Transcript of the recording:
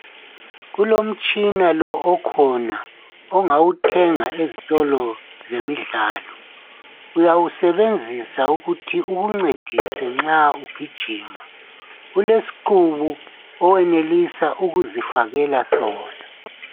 Kulomtshina lo okhona ongawuthenga ezitolo zemidlalo, uyawusebenzisa ukuthi ukuncedisa nxa ugijima. Ulesiqubu owenelisa ukuzifakela sona.